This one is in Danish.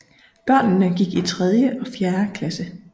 Børnene gik i tredje og fjerde klasse